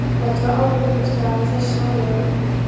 Þetta var álfabústaður með þessum álögum.